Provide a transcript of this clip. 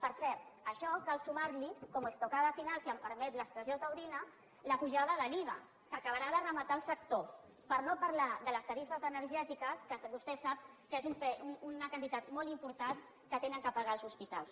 per cert a això cal sumar hi como estocada finall’expressió taurina la pujada de l’iva que acabarà de rematar el sector per no parlar de les tarifes energètiques que vostè sap que és una quantitat molt important que han de pagar els hospitals